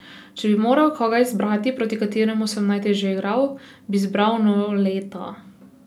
Če bi moral koga izbrati, proti kateremu sem najtežje igral, bi izbral Noleta.